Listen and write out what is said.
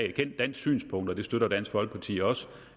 et kendt dansk synspunkt og det støtter dansk folkeparti også